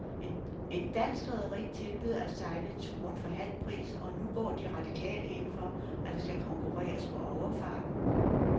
Et dansk rederi tilbyder at sejle turen for halv pris, og nu går de radikale ind for, at der skal konkurreres på overfarten.